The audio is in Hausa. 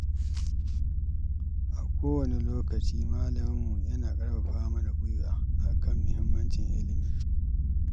A o wani lokaci malaminmu yana ƙarfafa mana guiwa, akan muhimmancin ilimi.